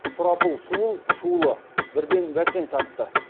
сұрапыл суыл шуылы бірден бәсең тартты